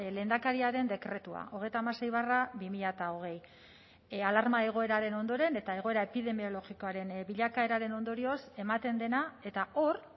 lehendakariaren dekretua hogeita hamasei barra bi mila hogei alarma egoeraren ondoren eta egoera epidemiologikoaren bilakaeraren ondorioz ematen dena eta hor